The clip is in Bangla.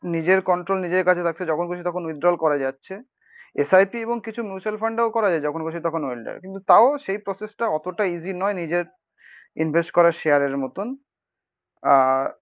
নিজের কন্ট্রোল নিজের কাছে রাখছে, যখন খুশি তখন উইথড্রল করা যাচ্ছে। এস আই পি এবং কিছু মিউচুয়াল ফান্ড এও করা যাই যখন খুশি তখন উইথড্রল। কিন্তু তাও সেই প্রসেসটা অতটা ইসি নয় নিজের ইনভেস্ট করা শেয়ারের মতন। আর